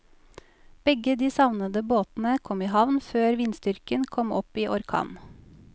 Begge de savnede båtene kom i havn før vindstyrken kom opp i orkan.